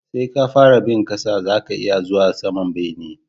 Sai ka fara bi ta ƙasa zaka iya zuwa saman bene